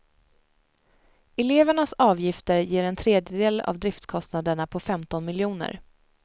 Elevernas avgifter ger en tredjedel av driftskostnaderna på femton miljoner.